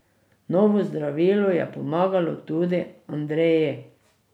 Novo zdravilo je pomagalo tudi Andreji.